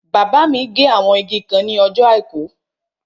Bàbá mi gé àwọn igi kan ní ọjọ́ àìkú